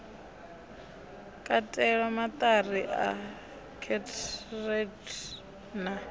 katelwa maṱari a kheroti na